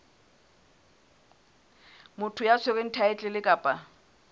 motho ya tshwereng thaetlele kapa